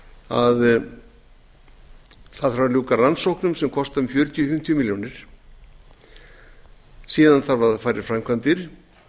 að það þarf að ljúka rannsóknum sem kosta um fjörutíu til fimmtíu milljónir síðan þarf að fara í framkvæmdir